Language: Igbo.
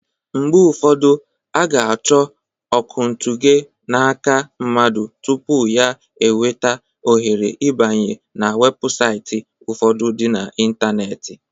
Mgbe ufọdụ, a ga-achọ okwuntughe n'aka mmadụ tupu ya enweta ohere ibanye n'webụsaiti ufọdụ dị na intaneeti.